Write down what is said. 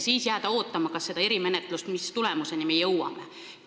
Seejärel peab jääma ootama erimenetlust ja seda, mis tulemuseni me jõuame.